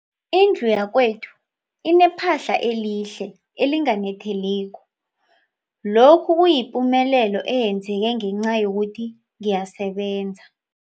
Indlu yakwethu inephahla elihle, elinganetheliko, lokhu kuyipumelelo eyenzeke ngenca yokuthi ngiyasebenza.